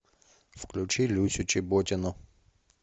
включи люсю чеботину